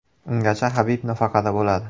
Ungacha Habib nafaqada bo‘ladi.